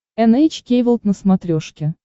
эн эйч кей волд на смотрешке